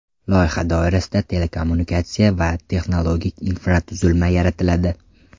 Loyiha doirasida telekommunikatsiya va texnologik infratuzilma yaratiladi.